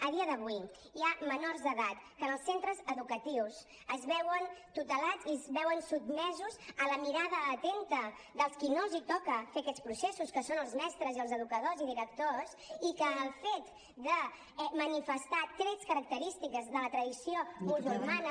a dia d’avui hi ha menors d’edat que en els centres educatius es veuen tutelats i es veuen sotmesos a la mirada atenta dels qui no els toca fer aquests processos que són els mestres i els educadors i directors i que el fet de manifestar trets característics de la tradició musulmana